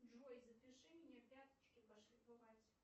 джой запиши меня пяточки пошлифовать